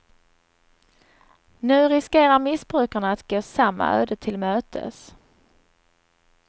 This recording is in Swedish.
Nu riskerar missbrukarna att gå samma öde till mötes.